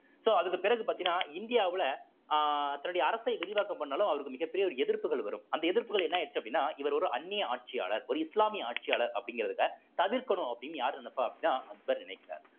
so அதுக்கு பிறகு பாத்தீங்கன்னா இந்தியாவுல அஹ் தன்னுடைய அரசை விரிவாக்கம் பண்ணாலும் அவருக்கு மிகப்பெரிய ஒரு எதிர்ப்புகள் வரும் அந்த எதிர்ப்புகள் என்ன ஆயிருச்ச அப்படின்னா இவர் ஒரு அன்னிய ஆட்சியாளர் ஒரு இஸ்லாமிய ஆட்சியாளர் அப்படிங்கிறதுல தவிர்க்கணும் அப்படின்னு யாரு நினைப்பா அப்படின்னா அக்பர் நினைக்கிறார்